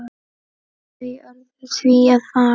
Þau urðu því að fara.